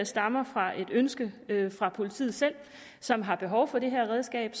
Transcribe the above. stammer fra et ønske fra politiet selv som har behov for det her redskab